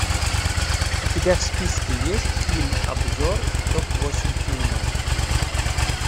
у тебя в списке есть фильм обзор топ восемь фильмов